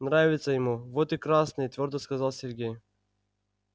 нравится ему вот и красные твёрдо сказал сергей